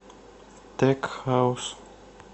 тек хаус